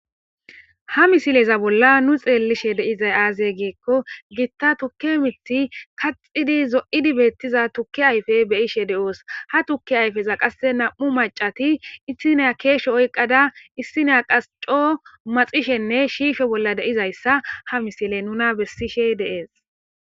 Ha misileza bolla nu xeellishe deizay aaze geekko giitta tukki mithi kaxidi zo'idi beettiza tukki ayfe beyishe de'oos ha tukki ayfeza qasse nam'u macati issineya keeshe oyqqada issineya qas coo maxishenne shiifhe bolla deizayssa ha misile nuna bessishe deees